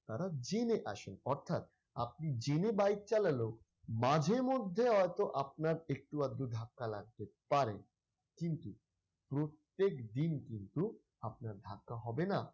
তারা জেনে আসে অর্থাৎ আপনি জেনে bike চালালেও মাঝেমধ্যে হয়তো আপনার একটু আকটু ধাক্কা লাগতে পারে কিন্তু প্রত্যেকদিন কিন্তু আপনার ধাক্কা হবে না।